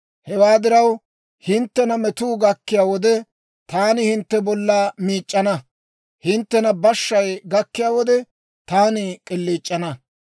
Hewaa diraw, hinttena metuu gakkiyaa wode, taani hintte bolla miic'c'ana; hinttena bashshay gakkiyaa wode, taani k'iliic'ana.